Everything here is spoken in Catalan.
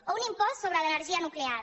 o un impost sobre l’energia nuclear